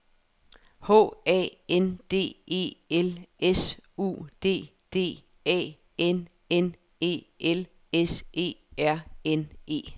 H A N D E L S U D D A N N E L S E R N E